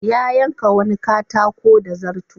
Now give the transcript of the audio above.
Ya yanka wani katako da zarto.